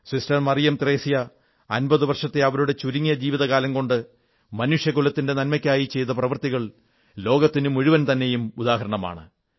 sister Mariam Thresia 50 വർഷത്തെ അവരുടെ ചുരുങ്ങിയ ജീവിതകാലം കൊണ്ട് മനുഷ്യകുലത്തിന്റെ നന്മയ്ക്കായി ചെയ്ത പ്രവർത്തികൾ ലോകത്തിനുമുഴുവൻ തന്നെയും ഉദാഹരണമാണ്